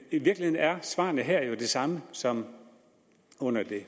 i virkeligheden er svaret her jo det samme som under det